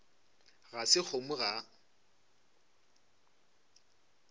ga se kgomo ga a